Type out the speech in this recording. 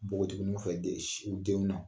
Npogotiginw fɛ den sin te mun na .